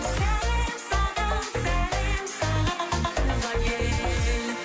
сәлем саған сәлем саған туған ел